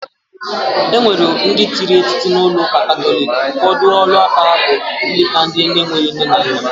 Enwere ndi tiri etiti na uuka katholic, ufodu olu aka aha bu ileta ndi na enwere nne na nna.